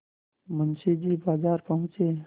मुंशी जी बाजार पहुँचे